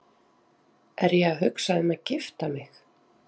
Er ég að hugsa um að gifta mig?